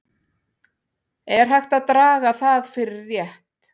Er hægt að draga það fyrir rétt?